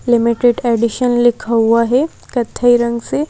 limited edition लिखा हुआ है कथाई रंग से--